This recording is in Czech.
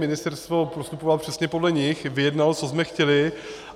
Ministerstvo postupovalo přesně podle nich, vyjednalo, co jsme chtěli.